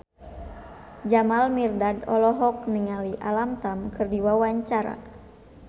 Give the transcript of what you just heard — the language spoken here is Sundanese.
Jamal Mirdad olohok ningali Alam Tam keur diwawancara